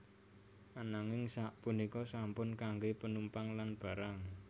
Ananging sapunika sampun kanggé penumpang lan barang